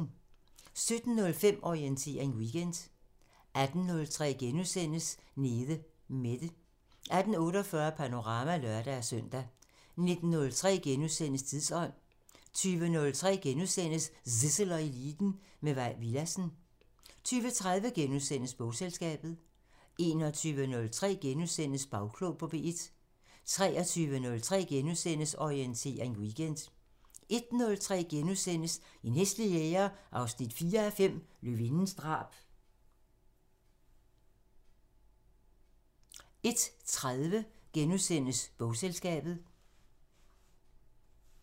17:05: Orientering Weekend 18:03: Nede Mette * 18:48: Panorama (lør-søn) 19:03: Tidsånd * 20:03: Zissel og Eliten: Med Mai Villadsen * 20:30: Bogselskabet * 21:03: Bagklog på P1 * 23:03: Orientering Weekend * 01:03: En hæslig jæger 4:5 – Løvindens drab * 01:30: Bogselskabet *